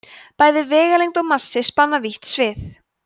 bæði vegalengd og massi spanna vítt svið